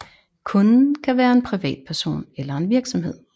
Kunden kan være en privatperson eller en virksomhed